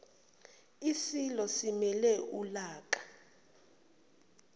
isilo simele ulaka